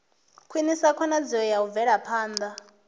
khwinisa khonadzeo ya u bvelaphanda